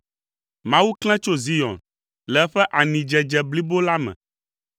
Mawu klẽ tso Zion le eƒe anidzedze blibo la me.